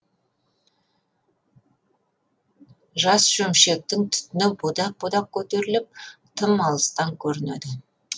жас шөмшектің түтіні будақ будақ көтеріліп тым алыстан көрінеді